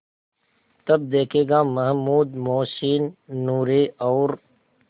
तब देखेगा महमूद मोहसिन नूरे और